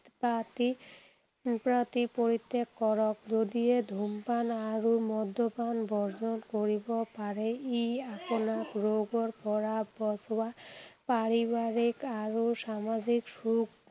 party পৰিত্যাগ কৰক। যদিহে ধূমপান আৰু মদ্যপান বৰ্জন কৰিব পাৰে, ই আপোনাক ৰোগৰ পৰা বচোৱা, পাৰিবাৰিক আৰু সামাজিক সুখ